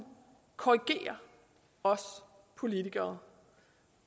korrigere os politikere